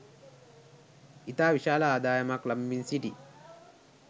ඉතා විශාල ආදායමක් ලබමින් සිටී